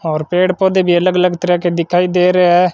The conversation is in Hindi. और पेड़ पौधे भी अलग अलग तरह के दिखाई दे रहे है।